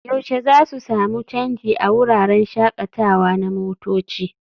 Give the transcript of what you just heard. yaushe za su sami canji a wuraren shakatawa na motoci?